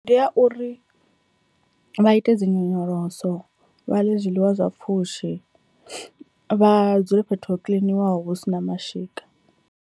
Ndi ya uri vha ite dzinyonyoloso, vha ḽe zwiḽiwa zwa pfhushi, vha dzule fhethu ho kiḽiniwaho hu sina mashika.